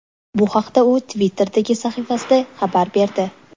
Bu haqda u Twitter’dagi sahifasida xabar berdi .